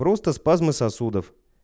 просто спазмы сосудов